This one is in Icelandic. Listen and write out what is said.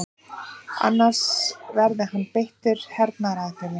Annars verði hann beittur hernaðaraðgerðum